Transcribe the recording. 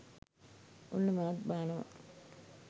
ඔන්න මාත් බානව